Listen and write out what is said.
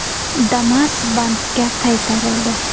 Damas bankka qaytarildi.